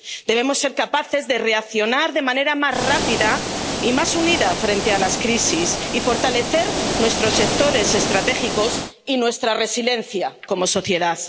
Debemos ser capaces de reaccionar de manera más rápida y más unida frente a las crisis y fortalecer nuestros sectores estratégicos y nuestra resiliencia como sociedad.